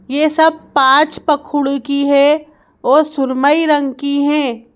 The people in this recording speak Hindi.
यह सब पाँच पखुड की है और सुरमई रंग की हैं।